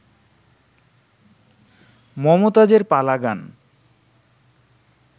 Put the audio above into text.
মমতাজের পালা গান